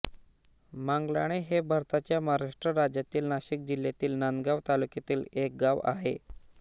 मांगलाणे हे भारताच्या महाराष्ट्र राज्यातील नाशिक जिल्ह्यातील नांदगाव तालुक्यातील एक गाव आहे